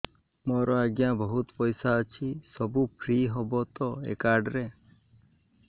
ମୋର ଆଜ୍ଞା ବହୁତ ପଇସା ଅଛି ସବୁ ଫ୍ରି ହବ ତ ଏ କାର୍ଡ ରେ